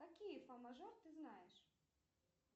какие фа мажор ты знаешь